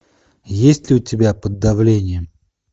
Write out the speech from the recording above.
есть ли у тебя под давлением